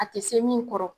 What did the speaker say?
A tɛ se min kɔrɔ